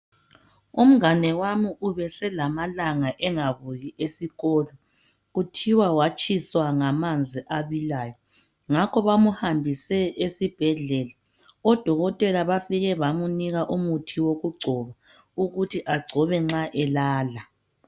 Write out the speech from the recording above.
Umngane wami ubeselamalanga angabuyi esikolo kuthiwa watshiswa ngamanzi abilayo ngakho bamhambise esibhedlela. Odokotela bafike bamunika umuthi wokungcoba ukuthi angcobe nxa elala.